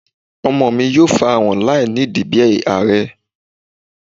Ọmọ mi yoo farahan lainidi bi aarẹ